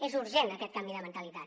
és urgent aquest canvi de mentalitat